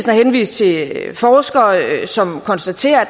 henvist til forskere som konstaterer at